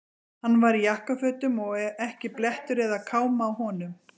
Hann var í jakkafötum og ekki blettur eða káma á honum.